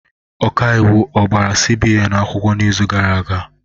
Ọkaiwu a gbara CBN akwụkwọ n'izu gara aga?